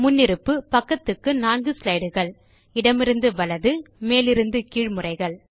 முன்னிருப்பு பக்கத்துக்கு 4 ஸ்லைடு கள் இடமிருந்து வலது மேலிருந்து கீழ் முறைகள்